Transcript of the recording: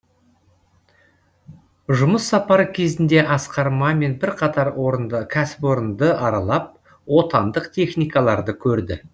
жұмыс сапары кезінде асқар мамин бірқатар кәсіпорынды аралап отандық техникаларды көрді